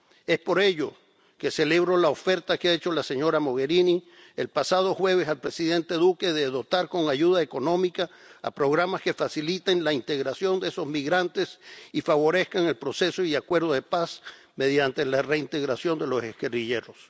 Es por ello que celebro la oferta que ha hecho la señora Mogherini el pasado jueves al presidente Duque de dotar con ayuda económica a programas que faciliten la integración de esos migrantes y favorezcan el proceso y acuerdo de paz mediante la reintegración de los guerrilleros.